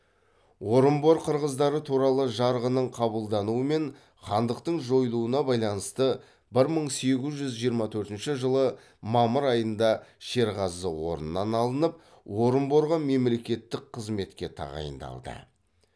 орынбор қырғыздары туралы жарғының қабылдануымен хандықтың жойылуына байланысты бір мың сегіз жүз жиырма төртінші жылы мамыр айында шерғазы орнынан алынып орынборға мемлекеттік қызметке тағайындалды